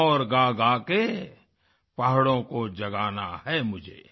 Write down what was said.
और गागा के पहाड़ों को जगाना है मुझे